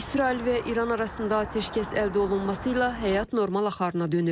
İsrail və İran arasında atəşkəs əldə olunması ilə həyat normal axarına dönür.